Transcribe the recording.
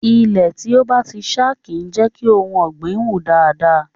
Ilẹ̀ tí ó bá ti ṣá kì í jẹ́ kí ohun ọ̀gbìn wù dáadáa.